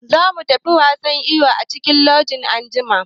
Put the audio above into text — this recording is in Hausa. Za mu tafi wasan iyo a cikin kogi anjima.